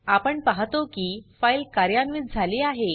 आपण पाहतो की फाइल कार्यान्वित झाली आहे